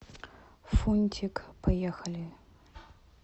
фунтик поехали